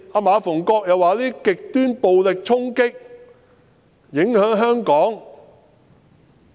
馬逢國議員說，這些極端暴力衝擊影響香港。